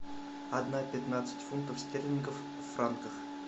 одна пятнадцать фунтов стерлингов в франках